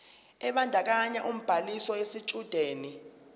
ebandakanya ubhaliso yesitshudeni